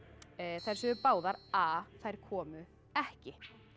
þær sögðu báðar a þær komu ekki